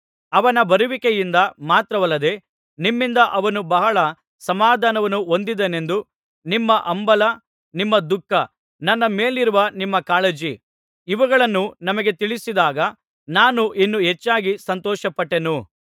ಅವನ ಬರುವಿಕೆಯಿಂದ ಮಾತ್ರವಲ್ಲದೆ ನಿಮ್ಮಿಂದ ಅವನು ಬಹಳ ಸಮಾಧಾನವನ್ನು ಹೊಂದಿದೆನೆಂದೂ ನಿಮ್ಮ ಹಂಬಲ ನಿಮ್ಮ ದುಃಖ ನನ್ನ ಮೇಲಿರುವ ನಿಮ್ಮ ಕಾಳಜಿ ಇವುಗಳನ್ನು ನಮಗೆ ತಿಳಿಸಿದಾಗ ನಾನು ಇನ್ನೂ ಹೆಚ್ಚಾಗಿ ಸಂತೋಷಪಟ್ಟೆನು